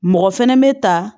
Mɔgɔ fɛnɛ bɛ ta